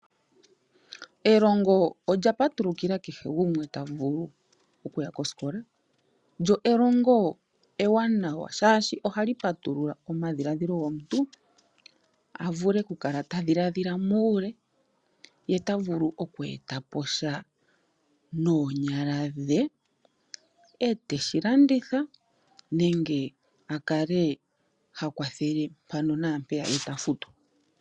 Elongo lya patulukila kehe gumwe ta vulu okuya kosikola, lyo elongo ewanana shaashi ohali patulula omadhilaadhilo gomuntu a vule ku kala ta dhiladhila muule yeta vulu okweeta posha noonyala dhe eteshi landitha nenge a kale ha kwathele mpano naampeya ye ta futwa.